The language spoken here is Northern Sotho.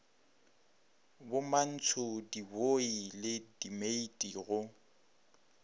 bomantsho dibooi le dimeiti go